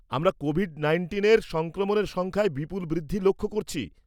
আমরা কোভিড নাইন্টিনের সংক্রমণের সংখ্যায় বিপুল বৃদ্ধি লক্ষ্য করছি।